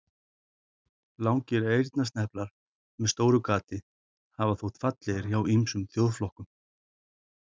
Langir eyrnasneplar með stóru gati hafa þótt fallegir hjá ýmsum þjóðflokkum.